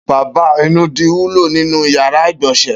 Bèbá inúdi wúló ninú iyàrá igbọnsẹ̀